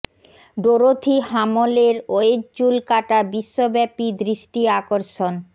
Dorothy Hamill এর wedge চুল কাটা বিশ্বব্যাপী দৃষ্টি আকর্ষণ